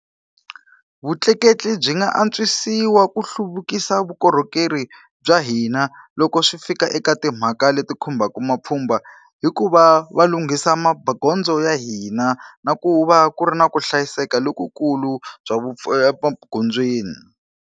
Vutleketli byi nga antswisiwa ku hluvukisa vukorhokeri bya hina loko swi fika eka timhaka leti khumbaka mapfhumba, hikuva va lunghisa magondzo ya hina na ku va ku ri na ku hlayiseka lokukulu bya emagondzweni.